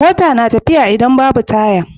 Mota na tafiya idan Babu taya